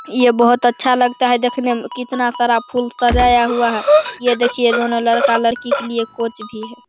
ये बहुत अच्छा लगता है देखने में कितना सारा फूल सजाया हुआ है। ये देखिए दोनों लड़का-लड़की के लिए कोच भी हैं।